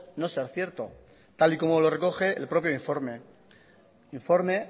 no ser cierto tal y como lo recoge el propio informe informe